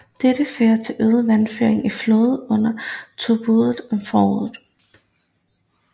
Dette fører til øget vandføring i floden under tøbruddet om foråret